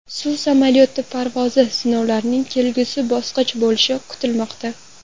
Suv samolyoti parvozi sinovlarning kelgusi bosqich bo‘lishi kutilmoqda.